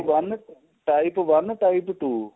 one type one type two